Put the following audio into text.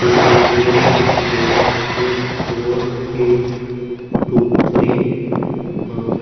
UK. Zero seven A four eight two three और --